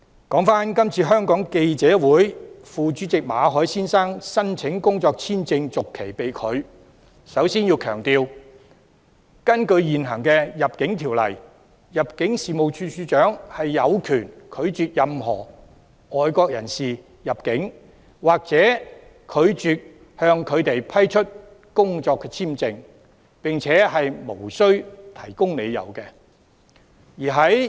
關於香港記者會副主席馬凱先生申請工作簽證續期被拒，我首先要強調，根據現行《入境條例》，入境事務處處長有權拒絕任何外國人士入境或拒絕向他們批出工作簽證，並且無須提供理由。